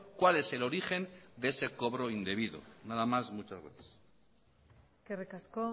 cuál es el origen de ese cobro indebido nada más muchas gracias eskerrik asko